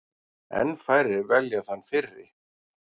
Enn færri velja þann fyrri.